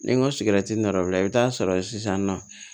Ni n ka nana i bɛ taa sɔrɔ sisan nɔn